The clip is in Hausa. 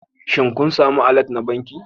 Shin kun sami allert na banki